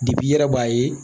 i yɛrɛ b'a ye